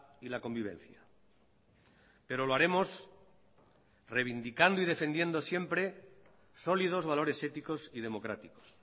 y la convivencia pero lo haremos reivindicando y defendiendo siempre sólidos valores éticos y democráticos